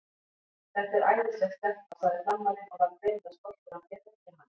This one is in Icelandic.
Þetta er æðisleg stelpa, sagði Frammarinn og var greinilega stoltur af því að þekkja hana.